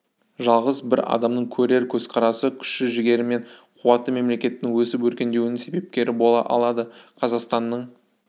жалғыз бір адамның көреген көзқарасы күш жігері мен қуаты мемлекеттің өсіп өркендеуінің себепкері бола алады қазақстанның